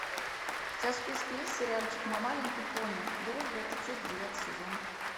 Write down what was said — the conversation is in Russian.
у тебя в списке есть сериальчик мой маленький пони дружба это чудо девятый сезон